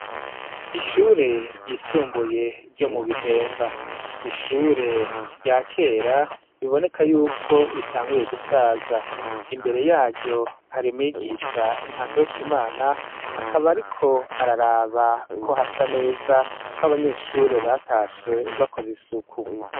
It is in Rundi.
Ishure ryisumbuye ryo mu bihemba niishure ryakera biboneka yuko ritanguye gusaza imbere yaryo et hari mwigisha ntakarutamana akaba ariko araraba ko hasa neza ko abanyeshure batashe bakoze isuku.